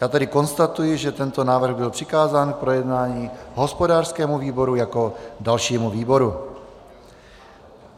Já tedy konstatuji, že tento návrh byl přikázán k projednání hospodářskému výboru jako dalšímu výboru.